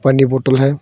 आगे बोतल है।